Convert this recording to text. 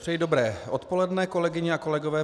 Přeji dobré odpoledne, kolegyně a kolegové.